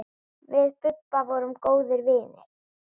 Við Bubba vorum góðir vinir.